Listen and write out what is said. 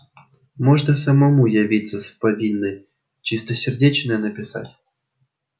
можно самому явиться с повинной чистосердечное написать